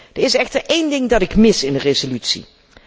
Er is echter één ding dat ik mis in de resolutie.